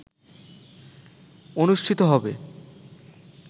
অনুষ্ঠিত হবে